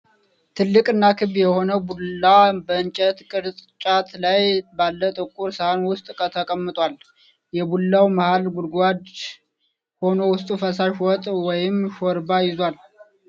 ትልቅና ክብ የሆነ ቡላ በእንጨት ቅርጫት ላይ ባለ ጥቁር ሳህን ውስጥ ተቀምጧል። የቡላው መሃል ጉድጓድ ሆኖ ውስጡ ፈሳሽ ወጥ ወይም ሾርባ ይዟል።